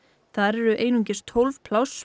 þar eru einungis tólf pláss